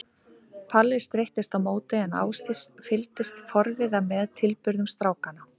Palli streittist á móti en Ásdís fylgdist forviða með tilburðum strákanna.